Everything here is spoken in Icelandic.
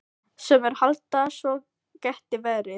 Sumir halda að svo geti verið.